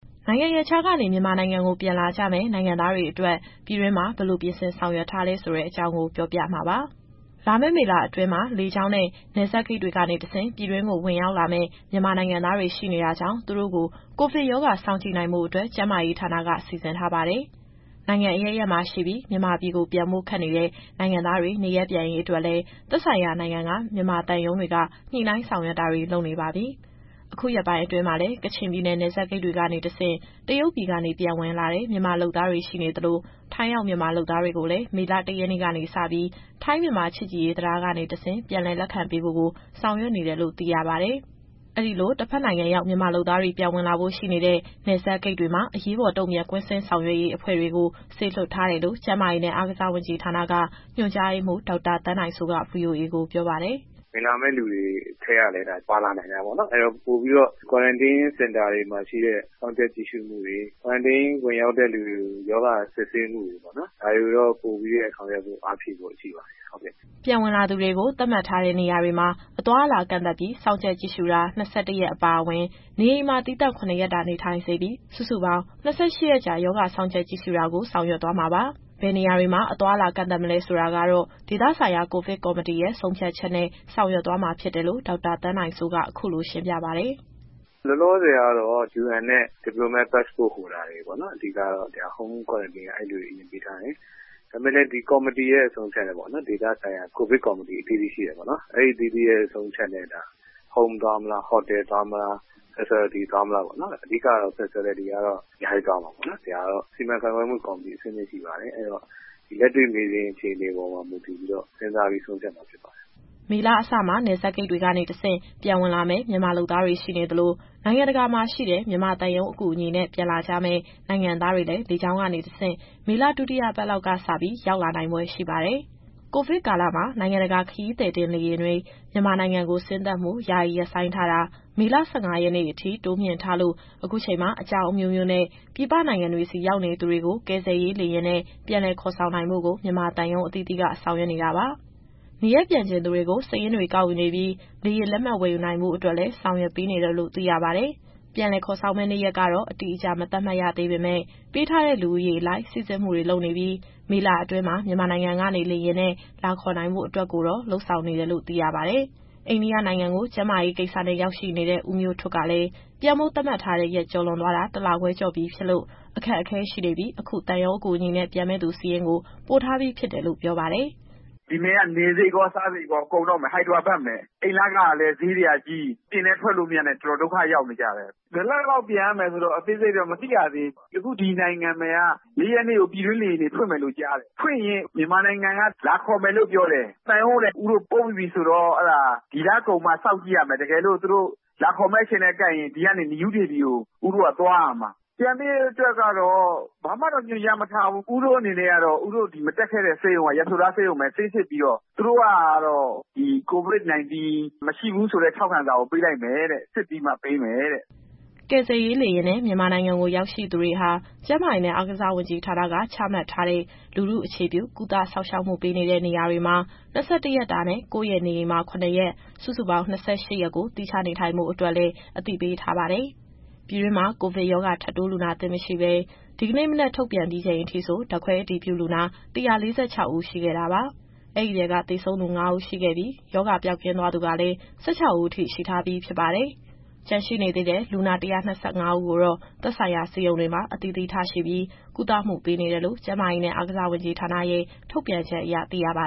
နိုင်ငံရပ်ခြားကနေ မြန်မာနိုင်ငံကို ပြန်လာကြမယ့် နိုင်ငံသားတွေအတွက် ပြည်တွင်းမှာ ဘယ်လို ပြင်ဆင်ဆောင်ရွက်ထားလဲဆိုတဲ့အကြောင်းကို ဗွီအိုအေ မြန်မာပိုင်းသတင်းထောက် မစုစုက ပြောပြမှာပါ။ လာမယ့် မေလအတွင်းမှာ လေကြောင်းနဲ့ နယ်စပ်ဂိတ်တွေကနေတဆင့် ပြည်တွင်းကို ဝင်ရောက်လာမယ့် မြန်မာနိုင်ငံသားတွေ ရှိနေတာကြောင့် သူတို့ကို ကိုဗစ်ရောဂါစောင့်ကြည့်နိုင်ဖို့အတွက် ကျန်းမာရေးဌာနက စီစဉ်ထားပါတယ်။ နိုင်ငံအရပ်ရပ်မှာ ရှိပြီး မြန်မာပြည်ပြန်ဖို့ ခက်နေတဲ့ နိုင်ငံသားတွေ နေရပ်ပြန်ရေးအတွက်လည်း သက်ဆိုင်ရာနိုင်ငံက မြန်မာသံရုံးတွေက ညှိနှိုင်းဆောင်ရွက်တာတွေ လုပ်နေပါပြီ။ အခုရက်ပိုင်းအတွင်းမှာလည်း ကချင်ပြည်နယ် နယ်စပ်ဂိတ်တွေကနေတဆင့် တရုတ်ပြည်ကနေ ပြန်ဝင်လာတဲ့ မြန်မာလုပ်သားတွေ ရှိနေသလို ထိုင်းရောက်မြန်မာလုပ်သားတွေကိုလည်း မေလ ၁ ရက်နေ့ကနေစပြီး ထိုင်း-မြန်မာ ချစ်ကြည်ရေးတံတားကနေတဆင့် ပြန်လည်လက်ခံပေးဖို့ကို ဆောင်ရွက်နေတယ်လို့ သိရပါတယ်။ အဲဒီလို တဘက်နိုင်ငံရောက် မြန်မာလုပ်သားတွေ ပြန်ဝင်လာဖို့ ရှိနေတဲ့ နယ်စပ်ဂိတ်တွေမှာ အရေးပေါ်တုံ့ပြန် ကွင်းဆင်းဆောင်ရွက်ရေးအဖွဲ့တွေကို စေလွှတ်ထားတယ်လို့ ကျန်းမာရေးနဲ့ အားကစားဝန်ကြီးဌာနက ညွှန်ကြားရေးမှူး ဒေါက်တာသန်းနိုင်စိုးက VOA ကိုပြောပါတယ်။ “ဝင်လာမယ့် သူတွေထဲကလည်း ဒါ ပါလာနိုင်တာပေါ့နော်။ အဲတော့ ပိုပြီးတော့ Quarantine Center တွေမှာရှိတဲ့ စောင့်ကြပ်ကြည့်ရှုမှုတွေ Quarantine ဝင်ရောက်တဲ့သူတွေကို ရောဂါစစ်ဆေးမှုတွေပေါ့နော်။ ဒါတွေကိုတော့ ပိုပြီးတော့အားဖြည့်ဆောင်ရွက်ဖို့ ရှိပါတယ်။” ပြန်ဝင်လာသူတွေကို သတ်မှတ်ထားတဲ့နေရာတွေမှာ အသွားအလာ ကန့်သတ်ပြီး စောင့်ကြပ်ကြည့်ရှုတာ ၂၁ ရက်အပါအဝင်၊ နေအိမ်မှာသီးသန့် ၇ ရက်တာ နေထိုင်စေပြီး စုစုပေါင်း ၂၈ ရက်ကြာ ရောဂါစောင့်ကြပ်ကြည့်ရှုတာကို ဆောင်ရွက်သွားမှာပါ။ ဘယ်နေရာတွေမှာ အသွားအလာကန့်သတ်မလဲဆိုတာကတော့ ဒေသဆိုင်ရာ ကိုဗစ်ကော်မတီရဲ့ ဆုံးဖြတ်ချက်နဲ့ ဆောင်ရွက်သွားမှာ ဖြစ်တယ်လို့ ဒေါက်တာသန်းနိုင်စိုးက အခုလိုရှင်းပြပါတယ်။ “လောလောဆယ်ကတော့ UN နဲ့ Diplomatic Passport Holders တွေပေါ့နော်။ Home Quarantine ကတော့ အဲလူတွေကို အရင်ပေးထားတယ်။ ဒါပေမဲ့လည်း ဒီကော်မတီရဲ့ အဆုံးအဖြတ်နဲ့ပေါ့နော်။ ဒေသဆိုင်ရာ ကိုဗစ်ကော်မတီအသီးသီးရဲ့ ဆုံးဖြတ်ချက်နဲ့ Home သွားမလား၊ Hotel သွားမလား၊ Facility သွားမလားပေါ့နော်။ အဓိကတော့ Facility ကတော့ အများကြီးသွားမှာပေါ့နော်။ ဒီဟာကတော့ စီမံခန့်ခွဲမှုကော်မတီ အဆင့်ဆင့်ရှိပါတယ်။ အဲတော့ လက်တွေ့မြေပြင် အခြေအနေပေါ်မူတည်ပြီးတော့ စဉ်းစားပြီးဆုံးဖြတ်မှာ ဖြစ်ပါတယ်။” မေလအစမှာ နယ်စပ်ဂိတ်တွေကနေတဆင့် ပြန်ဝင်လာမယ့် မြန်မာလုပ်သားတွေ ရှိနေသလို နိုင်ငံတကာမှာ ရှိတဲ့ မြန်မာသံရုံးအကူအညီနဲ့ ပြန်လာကြမယ့် နိုင်ငံသားတွေလည်း လေကြောင်းကနေတဆင့် မေလ ဒုတိယပတ်လောက်ကစပြီး ရောက်လာနိုင်ဖွယ်ရှိပါတယ်။ ကိုဗစ်ကာလမှာ နိုင်ငံတကာခရီးသည်တင် လေယာဉ်တွေ မြန်မာနိုင်ငံကို ဆင်းသက်မှု ယာယီရပ်ဆိုင်းထားတာ မေလ ၁၅ ရက်နေ့အထိ တိုးမြှင့်ထားလို့ အခုချိန်မှာ အကြောင်းအမျိုးမျိုးနဲ့ ပြည်ပနိုင်ငံတွေဆီ ရောက်နေသူတွေကို ကယ်ဆယ်ရေးလေယာဉ်နဲ့ ပြန်လည်ခေါ်ဆောင်နိုင်ဖို့ကို မြန်မာသံရုံးအသီးသီးက ဆောင်ရွက်နေတာပါ။ နေရပ်ပြန်ချင်သူတွေကို စာရင်းတွေကောက်ယူနေပြီး လေယာဉ်လက်မှတ် ဝယ်ယူနိုင်ဖို့အတွက်လည်း ဆောင်ရွက်ပေးနေတယ်လို့ သိရပါတယ်။ ပြန်လည်ခေါ်ဆောင်မယ့် နေ့ရက်ကတော့ အတိအကျ မသတ်မှတ်ရသေးပေမယ့် ပေးထားတဲ့လူဦးရေအလိုက် စိစစ်မှုတွေလုပ်နေပြီး မေလအတွင်းမှာ မြန်မာနိုင်ငံကနေလေယာဉ်နဲ့ လာခေါ်နိုင်ဖို့အတွက်ကိုတော့ လုပ်ဆောင်နေတယ်လို့ သိရပါတယ်။ အိန္ဒိယနိုင်ငံကို ကျန်းမာရေးကိစ္စနဲ့ ရောက်ရှိနေတဲ့ ဦးမျိုးထွဋ်ကလည်း ပြန်ဖို့သတ်မှတ်ထားတဲ့ရက် ကျော်သွားတာ တလခွဲကျော်ပြီဖြစ်လို့ အခက်အခဲရှိနေပြီး အခုသံရုံးအကူအညီနဲ့ ပြန်မယ့်သူ စာရင်းကိုပို့ထားပြီးဖြစ်တယ်လို့ ပြောပါတယ်။ “ဒီမှာက နေစရိတ်ရော စားစရိတ်ရော ကုန်တော့မယ်။ Hyderabad မှာ အိမ်လခကလည်း ဈေးတွေကကြီး၊ အပြင်လည်းထွက်မရနဲ့ တော်တော်ဒုက္ခရောက်နေကြတယ်။ ဘယ်တော့လောက်ပြန်မယ်ဆိုတဲ့ အသေးစိတ်တော့မသိရသေးဘူး။ အခုဒီနိုင်ငံမှာက ၄ ရက်နေ့ကို ပြည်တွင်းလေယာဉ်တွေ ဖွင့်မယ်ကြားတယ်။ ဖွင့်ရင် မြန်မာနိုင်ငံက လာခေါ်မယ်လို့ ပြောတယ်။ သံရုံးကိုလည်း စာရင်းတွေပို့ပြီးပြီဆိုတော့ ဒီလကုန်စောင့်ကြည့်ရမယ်။ တကယ်လို့ သူတို့လာခေါ်မယ့်အချိန်နဲ့ ကိုက်ရင် ဒီကနေ နယူးဒေလီကို ဦးတို့ကသွားရမှာ။ ပြန်ဖို့အတွက်ကတော့ ဘာမှတော့ညွှန်ကြားမထားဘူး။ ဦးတို့အနေနဲ့ကတော့ ဦးတို့တက်ခဲ့တဲ့ Yashoda ဆေးရုံက ဆေးစစ်ပြီးတော့ COVID-19 မရှိဘူးဆိုတဲ့ ထောက်ခံစာကို ပေးလိုက်မယ်တဲ့။ စစ်ပြီးမှပေးမယ်တဲ့။” ကယ်ဆယ်ရေးလေယာဉ်နဲ့ မြန်မာနိုင်ငံကို ရောက်ရှိသူတွေဟာ ကျန်းမာရေးနဲ့ အားကစားဝန်ကြီးဌာနက ချမှတ်ထားတဲ့ လူထုအခြေပြု ကုသစောင့်ရှောက်မှုပေးနေတဲ့နေရာတွေမှာ ၂၁ရက်တာနဲ့ ကိုယ့်ရဲ့နေအိမ်မှာ ၇ ရက်၊ စုစုပေါင်း ၂၈ ရက်ကို သီးခြားနေထိုင်ဖို့အတွက်လည်း အသိပေးထားပါတယ်။ ပြည်တွင်းမှာ ကိုဗစ်ရောဂါ ထပ်တိုးလူနာသစ် မရှိဘဲ ဒီကနေ့ မနက်ထုတ်ပြန်ပြီးချိန်အထိဆို ဓာတ်ခွဲအတည်ပြုလူနာ ၁၄၆ ဦး ရှိခဲ့တာပါ။ အဲဒီထဲက သေဆုံးသူ ၅ ဦးရှိခဲ့ပြီး ရောဂါပျောက်ကင်းသွားသူကလည်း ၁၆ ဦးအထိ ရှိထားပြီဖြစ်ပါတယ်။ ကျန်ရှိနေသေးတဲ့ လူနာ ၁၂၅ ဦးကိုတော့ သက်ဆိုင်ရာဆေးရုံတွေမှာ အသီးသီးထားရှိပြီး ကုသမှုပေးနေတယ်လို့ ကျန်းမာရေးနဲ့ အားကစားဝန်ကြီးဌာနရဲ့ ထုြတ်ပန်ချက်အရသိရပါ